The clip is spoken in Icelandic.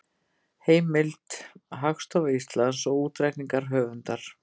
Heimild: Hagstofa Íslands og útreikningar höfundar.